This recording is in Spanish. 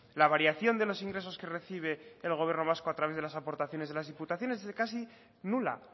la variación de los ingresos que recibe el gobierno vasco a través de las aportaciones de las diputaciones es casi nula